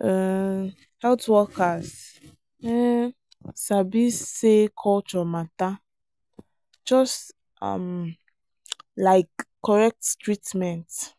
um health workers um sabi say culture matter just um like correct treatment.